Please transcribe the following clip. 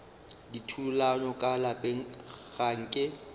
dithulano ka lapeng ga nke